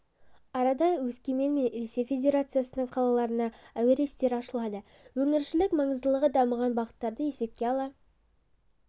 арада өскемен мен ресей федерациясының қалаларына әуе рейстері ашылады өңірішілік маңыздағы дамыған бағыттарды есепке ала